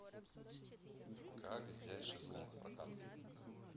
как взять шезлонг в прокат